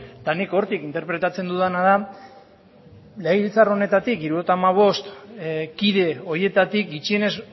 eta nik hortik interpretatzen dudana da legebiltzar honetatik hirurogeita hamabost kide horietatik gutxienez